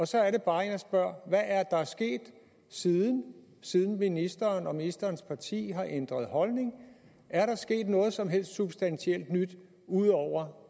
så er det bare jeg spørger hvad er der sket siden siden ministeren og ministerens parti har ændret holdning er der sket noget som helst substantielt nyt ud over